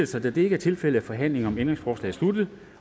sig da det ikke er tilfældet er forhandlingen om ændringsforslaget sluttet